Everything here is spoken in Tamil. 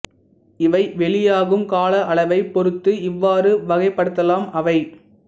இவை வெளியாகும் கால அளவைப் பொறுத்து இவ்வாறு வகைப்படுத்தலாம் அவை